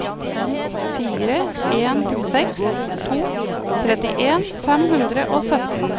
fire en seks to trettien fem hundre og sytten